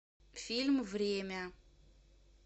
фильм время